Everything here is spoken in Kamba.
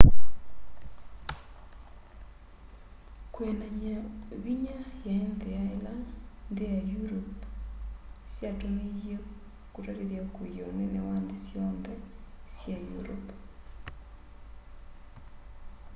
kwĩanany'a vinya yaĩ nthĩa ĩla nthĩ sya europe syatũmĩie kũtatĩthya kwiia ũnene wa nthĩ syonthe sya europe